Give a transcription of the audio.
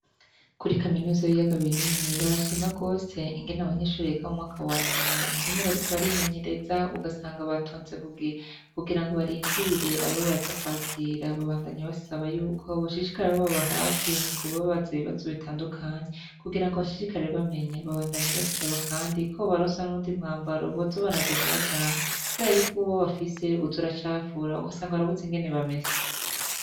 Kuri kaminuza y'iyaga binini barashima rwose ingene abanyishoreka mu mwaka wanyuma ingene bariko barimenyereza ugasanga batonze kugira kugira ngo barindire ababaza kwakira babandanyi basaba yuko boshishikare abo baba hafi mu kubabaza ibibazo bitandukanye kugira ngo abashishikare bamenya babandanyi basaba, kandi ko baronse nowe ndi mwambaro bozo baragenda bajanya, kubera yuko uwwe bafise uta uracafura uko asanga barabuze ingene bameze.